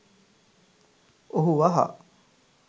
ඔහු වහා